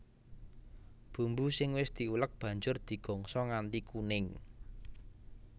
Bumbu sing wis diulek banjur digongso nganti kuning